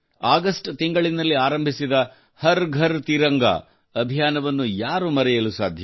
August ತಿಂಗಳಿನಲ್ಲಿ ಆರಂಭಿಸಿದ ಹರ್ ಘರ್ ತಿರಂಗಾ ಅಭಿಯಾನವನ್ನು ಯಾರು ಮರೆಯಲು ಸಾಧ್ಯ